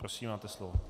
Prosím, máte slovo.